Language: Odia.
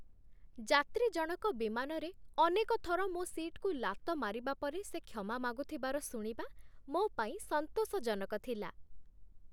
ଯାତ୍ରୀ ଜଣକ ବିମାନରେ ଅନେକ ଥର ମୋ ସିଟ୍‌କୁ ଲାତ ମାରିବା ପରେ ସେ କ୍ଷମା ମାଗୁଥିବାର ଶୁଣିବା ମୋ ପାଇଁ ସନ୍ତୋଷଜନକ ଥିଲା।